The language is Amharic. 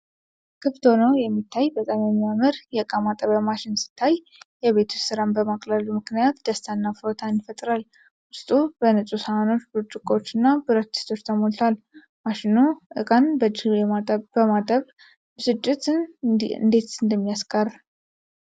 ክፍት ሆኖ የሚታይ በጣም የሚያምር የእቃ ማጠቢያ ማሽን ሲታይ፣ የቤት ውስጥ ሥራን በማቅለሉ ምክንያት ደስታና እፎይታን ይፈጥራል:: ውስጡ በንጹህ ሳህኖች፣ ብርጭቆዎችና ብረት-ድስቶች ተሞልቷል:: ማሽኑ እቃን በእጅ የማጠብ ብስጭትን እንዴት እንደሚያስቀር::